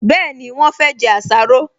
Bẹ́ẹ̀ni, wọ́n fẹ́ jẹ àsáró